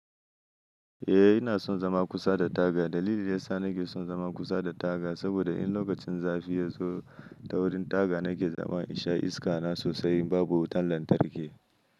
Eh ina son zama kusa da taga. Dalilin da yasa na ke son zama kusa da taga saboda in lokacin zafi ya zo, ta wurin taga na ke zaman in sha iska na sosai, in babu wutan lantarki.